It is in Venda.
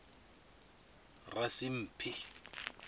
rasimphi